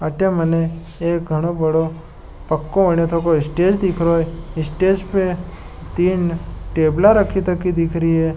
अटे मने एक घनो बड़ो पक्को स्टेज दिख रहो है स्टेज पर तीन टैबला दिख रही है।